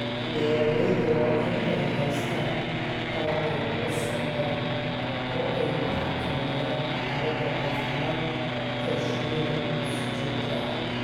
Beeralayda waa in ay haystaan ??qalab ay kula socdaan oo ay ku xakameeyaan xaaladda caafimaad ee shinnida si joogto ah.